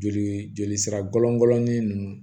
Joli joli sira bɔlɔngɔnin ninnu